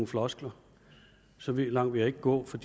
floskler så langt vil jeg ikke gå for